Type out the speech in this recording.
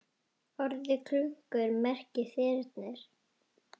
Orðið klungur merkir þyrnir.